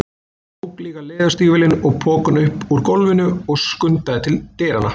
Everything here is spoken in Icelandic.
Tók líka leðurstígvélin og pokann upp úr gólfinu og skundaði til dyranna.